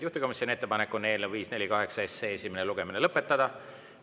Juhtivkomisjoni ettepanek on eelnõu 548 esimene lugemine lõpetada.